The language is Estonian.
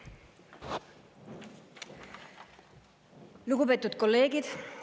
Lugupeetud kolleegid!